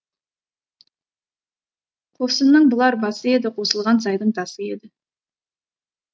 қосынның бұлар басы еді қосылған сайдың тасы еді